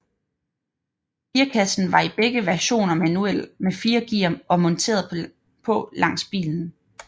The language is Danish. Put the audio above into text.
Gearkassen var i begge versioner manuel med fire gear og monteret på langs i bilen